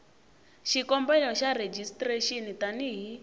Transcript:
xikombelo xa rejistrexini tani hi